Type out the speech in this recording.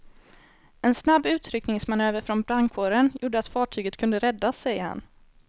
En snabb utryckningsmanöver från brandkåren gjorde att fartyget kunde räddas, säger han.